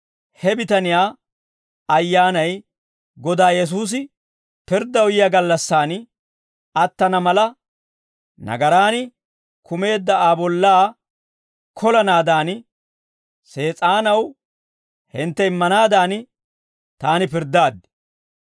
he bitaniyaa ayyaanay Godaa Yesuusi pirddaw yiyaa gallassan attana mala, nagaraan kumeedda Aa bollaa kolanaadan Sees'aanaw hintte immanaadan, taani pirddaaddi.